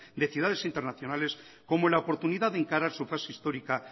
de ciudades internacionales como en la oportunidad de encarar su fase histórica